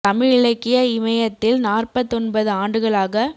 தமிழிலக்கிய இமயத்தில் நாற்பத்தொன்பது ஆண்டுகளாக